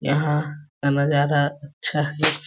यहाँ का नज़ारा अच्छा है।